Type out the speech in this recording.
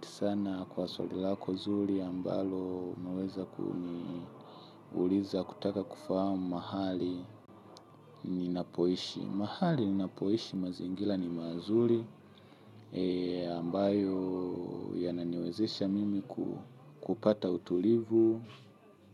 Sana kwa swali lako zuri ambalo umeweza kuniuliza kutaka kufahamu mahali ninapoishi. Mahali ninapoishi mazingira ni mazuri ambayo yananiwezesha mimi kupata utulivu